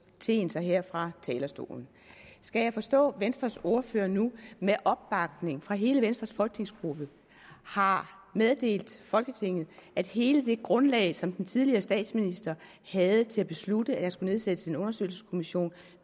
teen sig her fra talerstolen skal jeg forstå venstres ordfører nu med opbakning fra hele venstres folketingsgruppe har meddelt folketinget at hele det grundlag som den tidligere statsminister havde til at beslutte at der skulle nedsættes en undersøgelseskommission